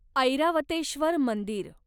ऐरावतेश्वर मंदिर